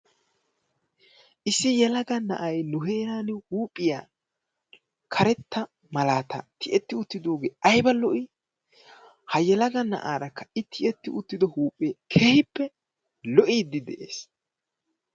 Issi yelaga na'ay nu heeraan huuphphiya karettaa malaata tiyetti uttidoogee ayba lo'ii? Ha yelaga naa'aara i tiyetti uttido huuphee keehiippe lo'iidi de'ees.